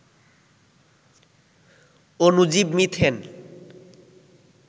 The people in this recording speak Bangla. অনুজীব মিথেন